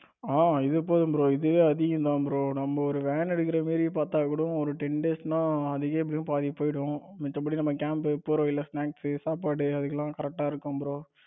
ஆ இது போதும் bro இதுவே அதிகம் தான் bro நம்ம ஒரு van எடுக்கிற மாதிரி பார்த்தா கூட ஒரு ten days அதுக்கே எப்படியும் பாதி போயிரும் மித்தபடி நம்ம camp போற வழியில snacks சாப்பாடு அதுக்கெல்லாம் correct இருக்கும் bro